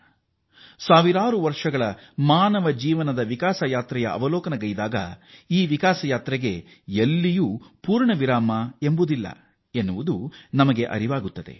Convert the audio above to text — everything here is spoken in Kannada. ನಾವು ಸಾವಿರಾರು ವರ್ಷಗಳ ಮಾನವನ ಜೀವನ ಮತ್ತು ಪ್ರಗತಿಯಾತ್ರೆಯ ಮೇಲೆ ಪಕ್ಷೀನೋಟ ಬೀರಿದರೆ ಈ ಶ್ರೇಷ್ಠ ಪಯಣಕ್ಕೆ ಎಲ್ಲಿಯೂ ಪೂರ್ಣ ವಿರಾಮ ಎಂಬುದಿಲ್ಲ ಎಂಬುದು ನಮಗೆ ಅರಿವಾಗುತ್ತದೆ